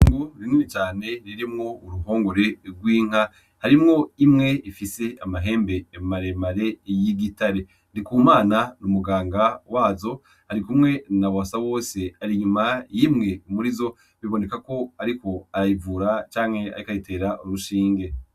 Ngu rinumi cane ririmwo uruhongore rw'inka harimwo imwe ifise amahembe emmaremare y'igitare ndikumana n'umuganga wazo ari kumwe na boasa wose ari inyuma y'imwe muri zo biboneka ko, ariko arayivura canke aikayitera urushinge.